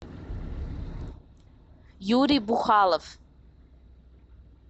юрий бухалов